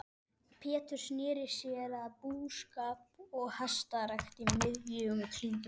Pétur sneri sér að búskap og hestarækt í miðjum klíðum.